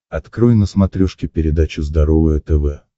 открой на смотрешке передачу здоровое тв